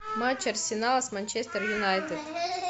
матч арсенал с манчестер юнайтед